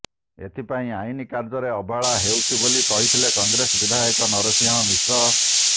ଏଥିପାଇଁ ଆଇନ କାର୍ଯ୍ୟରେ ଅବହେଳା ହେଉଛି ବୋଲି କହିଥିଲେ କଂଗ୍ରେସ ବିଧାୟକ ନରସଂହ ମିଶ୍ର